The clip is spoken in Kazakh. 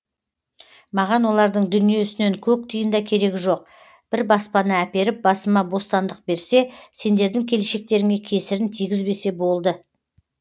маған олардың дүниесінен көк тиын да керегі жоқ бір баспана әперіп басыма бостандық берсе сендердің келешектеріңе кесірін тигізбесе болды